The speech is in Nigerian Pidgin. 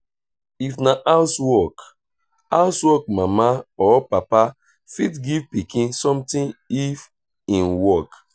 if na house work house work mama or papa fit give pikin something if im work